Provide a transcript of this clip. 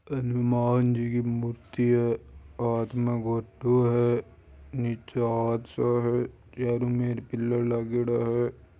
हनुमान जी की मूर्ति है हाथ म घोटो है नीचा हाथ सा है चारों मेर पिलर लागेडा है।